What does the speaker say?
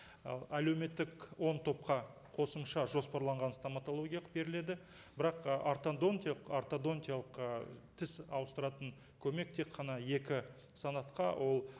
ы әлеуметтік он топқа қосымша жоспарланған стоматологиялық беріледі бірақ і ортодонтиялық ортодонтиялық ы тіс ауыстыратын көмек тек қана екі санатқа ол